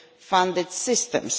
funded systems.